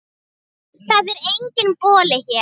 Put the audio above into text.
Það er enginn Bolli hér.